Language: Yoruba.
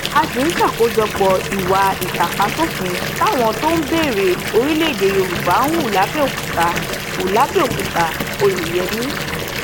a sì ń ṣàkójọpọ ìwà ìtàpáṣòfin táwọn tó ń béèrè orílẹèdè yorùbá hù làbẹòkútà hù làbẹòkútà oyeyẹmí